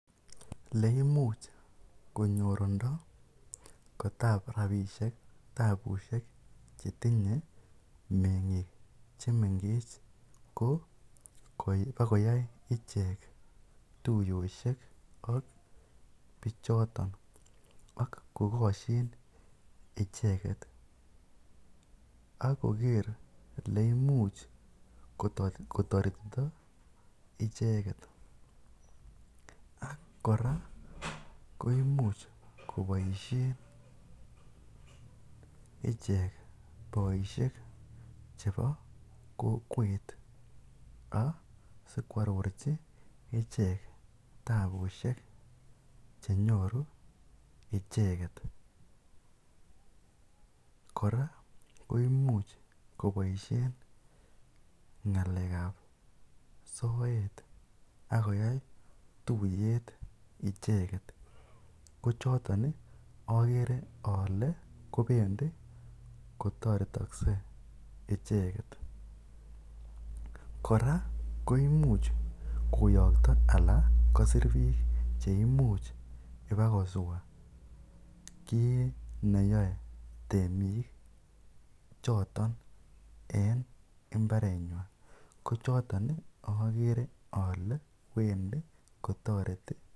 oleimuch konyorundo kotab rabishek tabu chetinye mengik chemengech ko koyai ichek tuyoshek ak bichoton ak kokoshin icheket ak koker oleimuch kotoretito icheket koimuch koboishen ichek boishek chebo kokewet ak asikwororchi ichek tabushek chenyoru icheket, kora koimuch koboishen ngalekab soet ak koyai tuyet icheket, kochoton okere olee kobendi kotoretokse icheket, kora koimuch koyokto alaa kosir biiik cheimuch ibakoswa kiit neyoe temik choton en imbarenik ko choton okere olee bendi kotoreti.